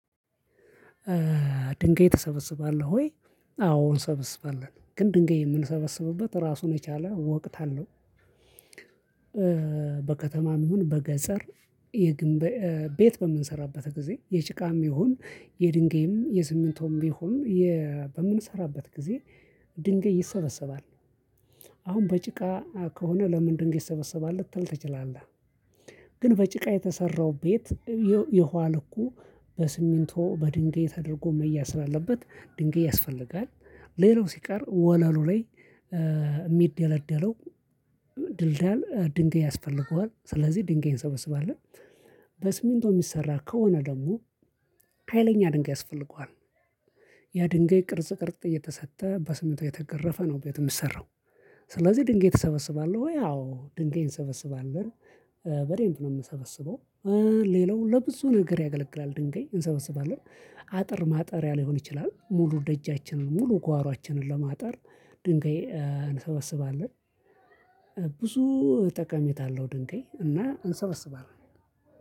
ድንጋይ ተሰበስባለሁ ወይ? አዎ እንሰበስባለን ግን ድንጋይ የምንሰበስብበት ራሱን የቻለ ወቅት አለው። በከተማም ይሁን በገጠር የግንብ ቤት በምንሰራበት ጊዜ የጭቃም ይሁን የድንገም የስምንትም ቢሆን በምንሰራበት ጊዜ ድንገት ይሰበሰባል አሁን በጭቃ ከሆነ ለምን ድንጋይ ይሰበሰባል ልትል ትችላለህ። ግን በጭቃ የተሰራው ቤት የኋል እኮ በስሚንቶ በድንጋይ ተደርጎ መያዝ ስላለበት ድንጋይ ያስፈልጋል። ሌላው ሲቀር ወለሉ ላይ የሚደለደለው ድልዳል ድንገይ ያስፈልገዋል ስለዚህ ድንገይ እንሰበስባለን። በስሚንቶ የሚሰራ ከሆነ ደግሞ ሀይለኛ ድንጋይ ያስፈልገዋል። ያ ድንጋይ ቅርጽ ቅርጽ እየተሰጠ በስምንት እየተገረፈ ነው ቤት የምትሰራው። ስለዚህ ድንጋይ እተሰበስባለሁ ወይ አዎ ድንጋይን እሰበስባለሁ በደንብ ነው የምሰበስበው። ሌላው ለብዙ ነገር ያገለግላል ድንጋይ እንሰበስባለን አጥር ማጠሪያ ሊሆን ይችላል። ሙሉ ደጃችንን ሙሉ ጓሮአችንን ለማጠር ድንጋይ እንሰበስባለን። ብዙ ጠቀሜታ አለው ድንጋይ እና እንሰበስባለን።